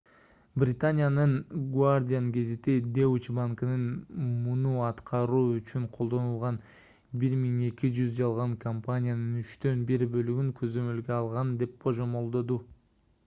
британиянын the guardian гезити deutsche банкынын муну аткаруу үчүн колдонулган 1200 жалган компаниянын үчтөн бир бөлүгүн көзөмөлгө алган деп божомолдоду